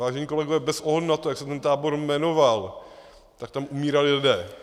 Vážení kolegové, bez ohledu na to, jak se ten tábor jmenoval, tak tam umírali lidé.